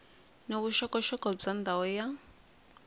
ni vuxokoxoko bya ndhawu ya